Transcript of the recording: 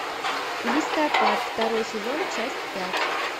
листопад второй сезон часть пять